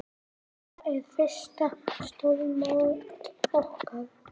Þetta er fyrsta stórmót okkar.